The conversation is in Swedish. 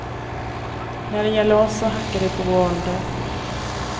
När det gäller oss så hackar de på vår ålder.